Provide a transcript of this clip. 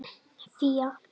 Fía